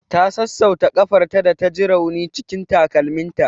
Ta sassauta ƙafarta da ta ji rauni cikin takalminta.